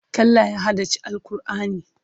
Kallah ya haddace Al'kur'ani.